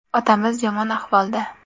Otamiz yomon ahvolda.